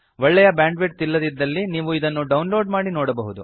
ಒಳ್ಳೆಯ bandwidth ಇಲ್ಲದಿದ್ದಲ್ಲಿ ನೀವು ಇದನ್ನು ಡೌನ್ ಲೋಡ್ ಮಾಡಿ ನೋಡಬಹುದು